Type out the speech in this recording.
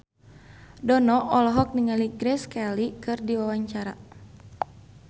Dono olohok ningali Grace Kelly keur diwawancara